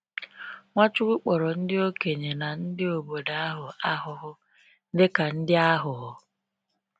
Nwachukwu kpọrọ ndị okenye na ndị obodo ahụ ahụhụ dịka ndị aghụghọ.